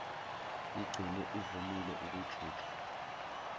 igcine ivumile ukujutshwa